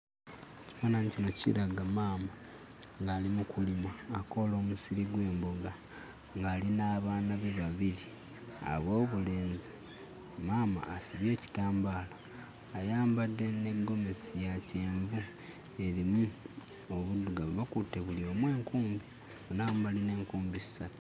Ekifaananyi kino kiraga maama ng'ali mu kulima akoola omusiri gw'embogo, ng'ali n'abaana be babiri ab'obulenzi. Maama asibye ekitambaala, ayambadde ne gomesi ya kyenvu erimu obuddugavu, bakutte buli omu enkumbi. Bonna awamu balina enkumbi ssatu.